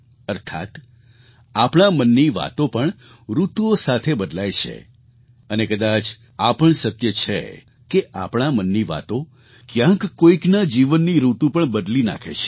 અર્થાત્ આપણા મનની વાતો પણ ઋતુઓ સાથે બદલાય છે અને કદાચ આ પણ સત્ય છે કે આપણા મનની વાતો ક્યાંક કોઈકના જીવનની ઋતુ પણ બદલી નાખે છે